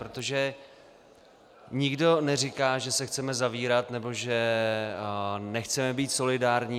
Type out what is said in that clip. Protože nikdo neříká, že se chceme zavírat nebo že nechceme být solidární.